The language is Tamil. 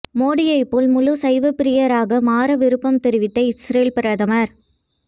மோடியைப் போல் முழு சைவப்பிரியராக மாற விருப்பம் தெரிவித்த இஸ்ரேல் பிரதமர்